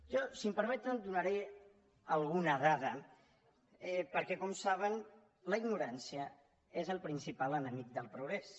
jo si em permeten donaré alguna dada perquè com saben la ignorància és el principal enemic del progrés